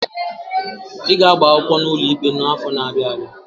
I ga-agba akwụkwọ n'ụlọ ikpe n'afọ n'abia abịa!